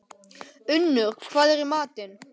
Unnur, hvað er í matinn?